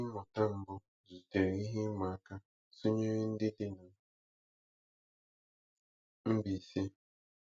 Ndị mmụta mbụ zutere ihe ịma aka tunyere ndị dị na Mbaise.